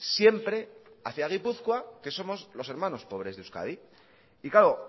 siempre hacia gipuzkoa que somos los hermanos pobres de euskadi y claro